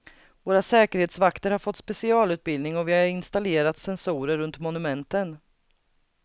Våra säkerhetsvakter har fått specialutbildning och vi har installerat sensorer runt monumenten.